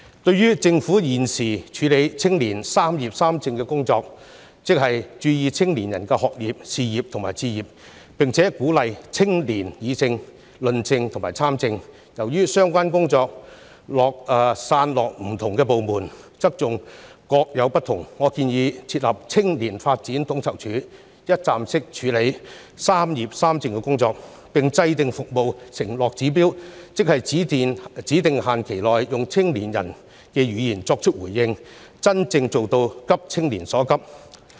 對於政府現時處理青年"三業三政"的工作，即關注青年人的學業、事業及置業，並鼓勵青年議政、論政及參政，由於相關工作散落於不同部門，側重點各有不同，我建議設立"青年發展統籌處"，一站式處理"三業三政"的工作，並制訂服務承諾指標，即在指定限期內，用青年人的語言作出回應，真正做到急青年所急。